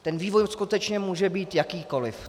Ten vývoj skutečně může být jakýkoliv.